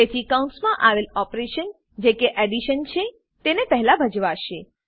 તેથી કૌંસમાં આવેલ ઓપરેશન જે કે એડીશન છે તે પહેલા ભજવાશે